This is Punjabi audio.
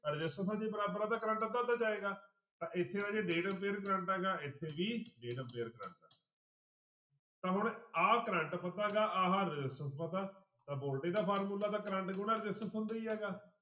ਰਸਿਸਟੈਂਸਾਂ ਜੇ ਬਰਾਬਰ ਆ ਤਾਂ ਕਰੰਟ ਅੱਧਾ ਅੱਧਾ ਜਾਏਗਾ ਤਾਂ ਇੱਥੇ ਰਾਜੇ ਡੇਢ ਡੇਢ ਕਰੰਟ ਹੈਗਾ ਇੱਥੇ ਵੀ ਡੇਢ ਕਰੰਟ ਆ ਤਾਂ ਹੁਣ ਆਹ ਕਰੰਟ ਪਤਾ ਗਾ ਆਹ resistance ਪਤਾ ਤਾਂ voltage ਦਾ ਫਾਰਮੁਲਾ ਤਾਂ ਕਰੰਟ ਗੁਣਾ resistance ਹੁੰਦਾ ਹੀ ਹੈਗਾ।